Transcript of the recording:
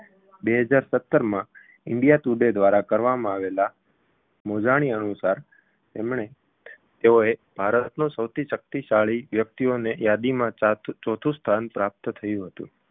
બે હજાર સત્તરમાં india today દ્વારા કરવામાં આવેલા મોજાણી અનુસાર તેમણે તેઓએ ભારતનો સૌથી શક્તિશાળી વ્યક્તિઓની યાદીમાં ચાર ચોથુ સ્થાન પ્રાપ્ત થયું હતું